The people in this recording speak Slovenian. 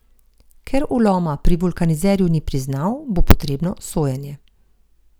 Ker vloma pri vulkanizerju ni priznal, bo potrebno sojenje.